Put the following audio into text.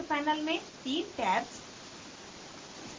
नीचे panel में तीन tabs